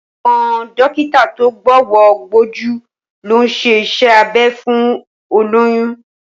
Àwọn dókítà tó gbówọ́ gbójú ló ń ṣe iṣẹ́ abẹ fún olóyún